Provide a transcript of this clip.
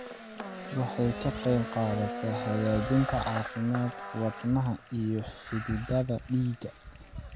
Waxay ka qaybqaadataa hagaajinta caafimaadka wadnaha iyo xididdada dhiigga.